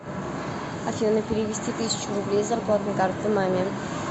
афина перевести тысячу рублей с зарплатной карты маме